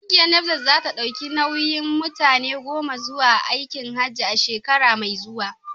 Kungiyar Nasfat za ta dauki nauyin mutane goma zuwa aikin Hajji a shekara mai zuwa.